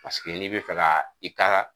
Paseke n'i bɛ fɛ ka i ka